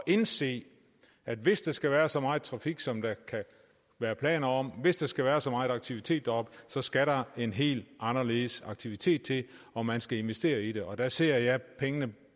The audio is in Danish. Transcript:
indse at hvis der skal være så meget trafik som der er planer om hvis der skal være så meget aktivitet deroppe så skal der en helt anderledes aktivitet til og man skal investere i det og der ser jeg pengene